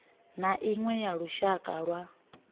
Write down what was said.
na iṅwe ya lushaka lwa